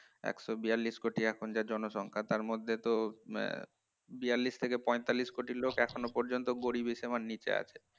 এক শো বিয়াল্লিশ কোটি এখন যা জনসংখ্যা তার মধ্যে তো বিয়াল্লিশ থেকে পঁয়তাল্লিশ কোটি লোক এখনো পর্যন্ত গরিবের সীমার নিচে আছে